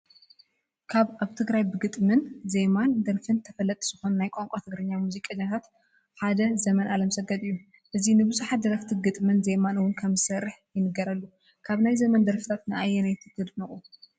ካብ ኣብ ትግራይ ብግጥም፣ ዜማን ደርፍን ተፈለጥቲ ዝኾኑ ናይ ቋንቋ ትግርኛ ሙዚቀኛታት ሓደ ዘመን ኣለምሰገድ እዩ፡፡ እዚ ንብዙሓት ደረፍቲ ግጥምን ዜማን ውን ከምዝሰርሕ ይንገረሉ፡፡ ካብ ናይ ዘመን ደርፊታት ንኣየነይቲ ተድንቑ?